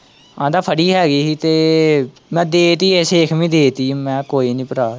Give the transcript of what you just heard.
ਕਹਿੰਦਾ ਥੋੜ੍ਹੀ ਹੈਗੀ ਹੀ ਤੇ ਮੈਂ ਦੇ ਦਿੱਤੀ ਏ ਸ਼ੇਖ ਨੂੰ ਹੀ ਦੇ ਦਿੱਤੀ ਏ ਮੈਂ ਕਿਹਾ ਕੋਈ ਨੀ ਭਰਾ।